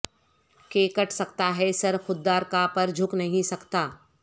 کہ کٹ سکتاہے سر خوددار کا پر جھک نہیں سکتا